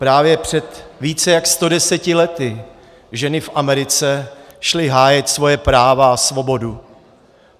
Právě před více jak 110 lety ženy v Americe šly hájit svoje práva a svobodu.